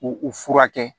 U u furakɛ